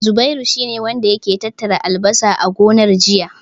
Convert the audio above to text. Zubairu shi ne wanda yake tattara albasar a gonar, jiya.